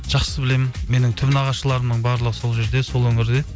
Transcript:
жақсы білемін менің түп нағашыларымның барлығы сол жерде сол өңірде